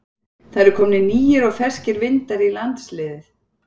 Það eru komnir nýir og ferskir vindar í landsliðið?